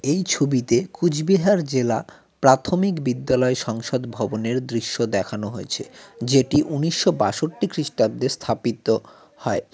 এই ছবিতে কুচবিহার জেলা প্রাথমিক বিদ্যালয় সংসদ ভবনের দৃশ্য দেখানো হয়েছে যেটি উন্নিশো বাষট্টি খ্রিস্টাব্দে স্থাপিত হয়।